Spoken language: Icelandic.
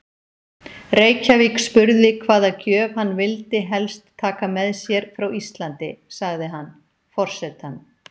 Reykjavík spurði hvaða gjöf hann vildi helst taka með sér frá Íslandi, sagði hann: Forsetann